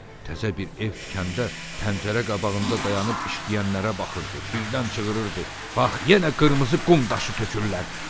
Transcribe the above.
Təzə bir ev tikəndə pəncərə qabağında dayanıb işləyənlərə baxırdı, birdən cığıırırdı: Bax yenə qırmızı qum daşı tökürlər.